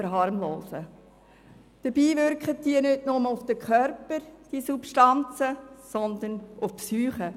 Dabei wirken diese Substanzen nicht nur auf den Körper, sondern auch auf die Psyche.